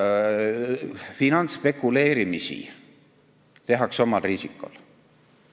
Veel kord: finantsspekuleerimisi tehakse omal riisikol.